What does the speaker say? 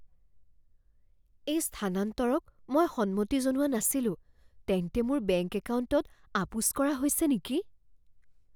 এই স্থানান্তৰক মই সন্মতি জনোৱা নাছিলো। তেন্তে মোৰ বেংক একাউণ্টত আপোচ কৰা হৈছে নেকি?